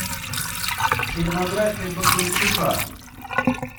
фильмография бондарчука